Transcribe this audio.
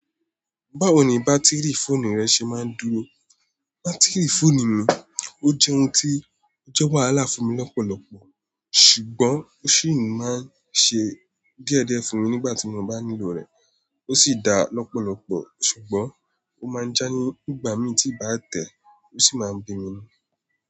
Báwo ni bátìrì fóònù rẹ ṣe máa ń dúró? Bátìrì fóònù mi ó jẹ́ ohun tí ó jẹ́ wàhálà fún mi lọ́pọ̀lọ́pọ̀, ṣùgbọ́n ó sì ń máa ń ṣe díẹ̀díẹ̀ fún mi nígbà tí mo bá nílò rẹ̀. Ó sì dá lọ́pọ̀lọ́pọ̀, ṣùgbọ́n ó máa ń já nígbà mí tí ì bá tẹ̀ẹ́, ó sì máa ń bínú.